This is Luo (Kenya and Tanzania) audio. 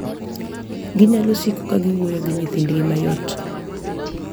Ginyalo siko ka giwuoyo gi nyithindgi mayot